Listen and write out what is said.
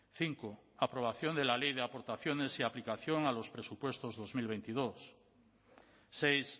cinco aprobación de la ley de aportaciones y aplicación a los presupuestos dos mil veintidós seis